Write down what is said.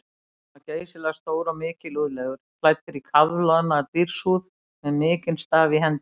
Hann var geysilega stór og mikilúðlegur, klæddur í kafloðna dýrshúð með mikinn staf í hendi.